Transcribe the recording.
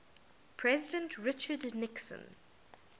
president richard nixon